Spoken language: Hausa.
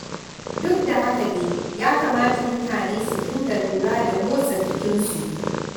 Duk da haka dai, ya kamata mutane su dinga lura da motsa jikinsu.